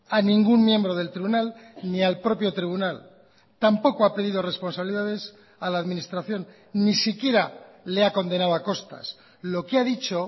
a ningún miembro del tribunal ni al propio tribunal tampoco ha pedido responsabilidades a la administración ni siquiera le ha condenado a costas lo que ha dicho